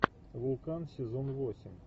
вулкан сезон восемь